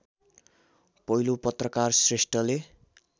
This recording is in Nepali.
पहिलो पत्रकार श्रेष्ठले